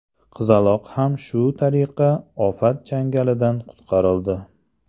Qizaloq ham shu tariqa ofat changalidan qutqarildi.